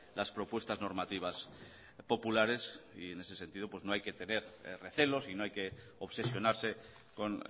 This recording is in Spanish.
las propuestas normativas populares y en ese sentido no hay que tener recelos y no hay que obsesionarse con